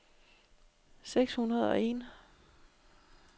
seks hundrede og en